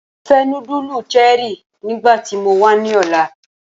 Mo fẹ nudulu Cherie nigbati mo wa ni ọla!